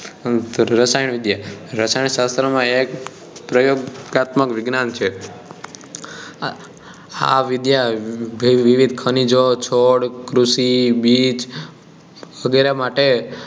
રાસાયણવિદ્યા રસાયણ શાસ્ત્ર માં એક પ્રયોગાત્મક વિજ્ઞાન છે આ વિદ્યા વિવિધ ખનીજો છોડ કૃષિ બીજ વેગેરે માટે